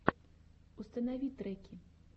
установи треки